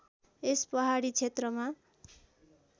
यस पहाडी क्षेत्रमा